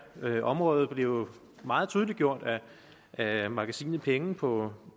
her område blev jo meget tydeliggjort af magasinet penge på